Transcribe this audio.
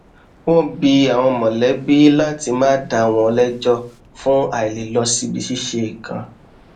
wọn bi àwọn mọlẹbi láti má dàá wọn lẹjọ fún àìlè lọ síbi ṣíṣe kan